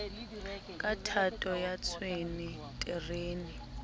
ka thato ya tshwene terene